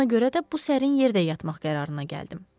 Ona görə də bu sərin yerdə yatmaq qərarına gəldim.